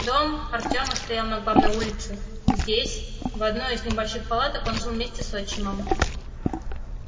дом артема стоял на главной улице здесь в одной из небольших палаток он жил вместе с отчимом